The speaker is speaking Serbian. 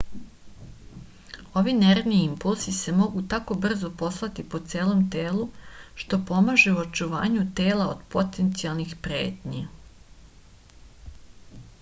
ovi nervni impulsi se mogu tako brzo poslati po celom telu što pomaže u očuvanju tela od potencijalnih pretnji